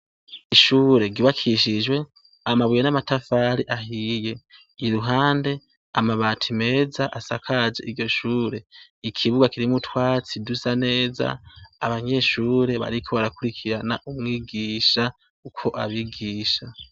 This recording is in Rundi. Ishure ry'ubakishijwe amabuye n'amatafari ahiye yiruhande amabati meza asakaje iryoshure. Ikibuga kiri mutwatsi dusa neza abanyeshure bariko barakurikirana umwigisha uko abigisha.